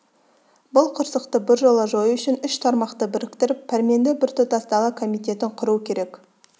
бұл қырсықты біржола жою үшін үш тармақты біріктіріп пәрменді біртұтас дала комитетін құру керек